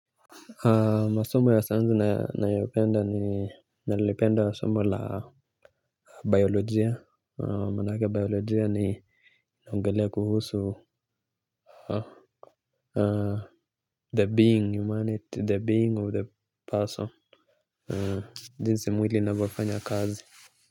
Masomo ya sayansi nayopenda ni nalipenda masomo la biolojia, manake biolojia inaongelea kuhusu. The being, humanity, the being of the person. Jinsi mwili unavyofanya kazi.